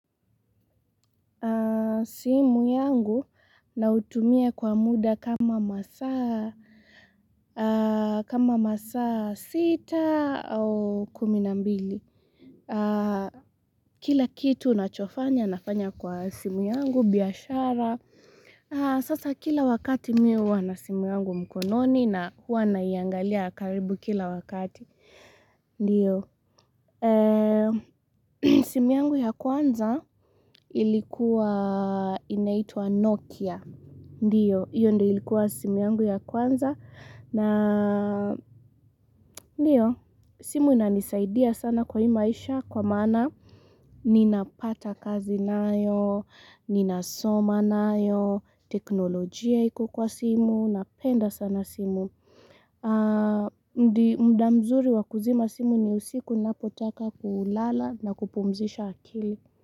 Simu yangu nautumia kwa muda kama masaa kama masaa sita au kumi na mbili Kila kitu unachofanya nafanya kwa simu yangu, biashara Sasa kila wakati mi huwa na simu yangu mkononi na hua naiangalia karibu kila wakati Ndiyo, simu yangu ya kwanza ilikuwa inaitwa Nokia Ndiyo, hiyo ndio ilikuwa simu yangu ya kwanza na, ndiyo, simu inanisaidia sana kwa hii maisha kwa maana ninapata kazi nayo, ninasoma nayo, teknolojia iko kwa simu, napenda sana simu ndi mda mzuri wa kuzima simu ni usiku ninapotaka kulala na kupumzisha akili.